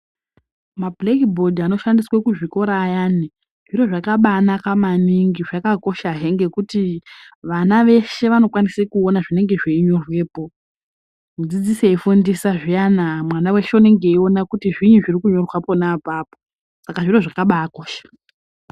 Mabhuleki bhodhi anoshandiswa kuzvikora ayani, zviro zvakabaanaka maningi, zvakakoshahe ngekuti vana veshe vanokwanise kuona zvinenge zveinyorwepo. Mudzidzisi eifundisa zviyana mwana weshe unenge eiona kuti zviinyi zviri kunyorwa pona apapo, saka zviro zvakabaakosha.